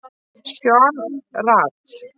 Sean Rad